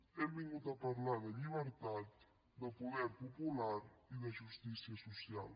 hem vingut a parlar de llibertat de poder popular i de justícia social